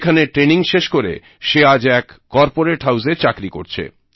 এখানে ট্রেনিং শেষ করে সে আজ এক কর্পোরেট হাউজে চাকরি করছে